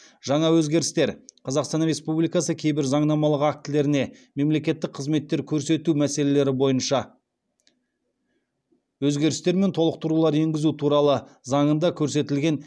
жаңа өзгерістер қазақстан республикасы кейбір заңнамалық актілеріне мемлекеттік қызметтер көрсету мәселелері бойынша өзгерістер мен толықтырулар енгізу туралы заңында көрсетілген